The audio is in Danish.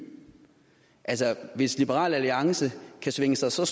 altså hvis liberal alliance kan svinge sig så